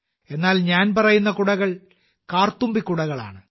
എന്നാൽ ഞാൻ പറയുന്ന കുടകൾ 'കാർത്തുമ്പി കുടകൾ' ആണ്